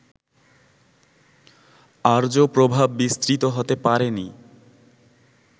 আর্য প্রভাব বিস্তৃত হতে পারেনি